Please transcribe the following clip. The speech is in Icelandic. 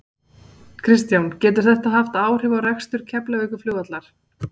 Kristján: Getur þetta haft áhrif á rekstur Keflavíkurflugvallar?